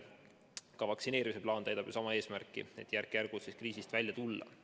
Ka vaktsineerimise plaan täidab ju sama eesmärki, et järk-järgult kriisist välja tulla.